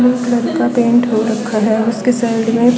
blue colour का paint हो रखा है उसके साइड मे--